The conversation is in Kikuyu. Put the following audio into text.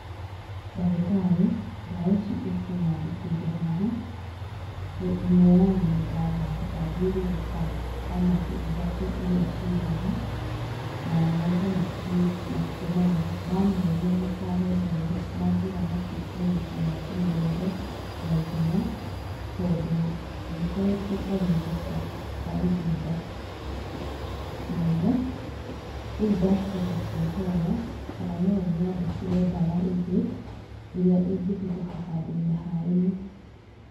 Ndagĩtarĩ ndawa ici ũkũnyandĩkĩire haha, ĩmwe yayo nĩ ndaga ndathiũrũrũka pharmacy ithatũ iria ciĩ haha, na mauga matirĩ matirĩ nayo, ndamoria makarehe rĩ, manjĩra matikuona ta makũmĩrehe na ihenya tondũ nĩ ĩkoretwo ĩtarĩ thoko kwa ihinda inene. Rĩu ndacoka kwĩhoya kana no ũnyandĩkĩre ndawa ĩngĩ, ĩrĩa ĩngĩhũthĩka handũ-inĩ ha ĩno